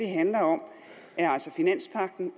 handler om